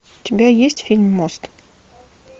у тебя есть фильм мост